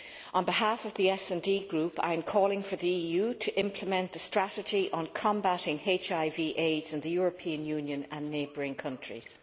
On behalf of the SD Group, I am calling for the EU to implement the strategy on combating HIV AIDS in the European Union and neighbouring countries.